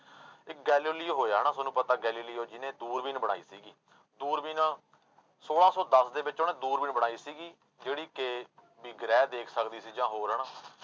ਇੱਕ ਗੈਲੇਲੀਓ ਹੋਇਆ ਹਨਾ ਤੁਹਾਨੂੰ ਪਤਾ ਗੈਲੇਲੀਓ ਜਿਹਨੇ ਦੂਰਬੀਨ ਬਣਾਈ ਸੀਗੀ, ਦੂਰਬੀਨ ਛੋਲਾਂ ਸੌ ਦਸ ਦੇ ਵਿੱਚ ਉਹਨੇ ਦੂਰਬੀਨ ਬਣਾਈ ਸੀਗੀ ਜਿਹੜੀ ਕਿ ਵੀ ਗ੍ਰਹਿ ਦੇਖ ਸਕਦੀ ਸੀ ਜਾਂ ਹੋਰ ਹਨਾ।